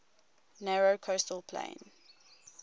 narrow coastal plain